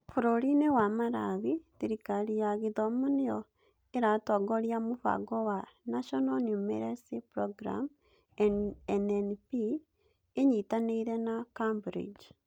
Bũrũri-inĩ wa Malawi, thirikari ya githomo nĩyo ĩratongoria mũbango wa National Numeracy Programme (NNP), ĩnyitanĩire na Cambridge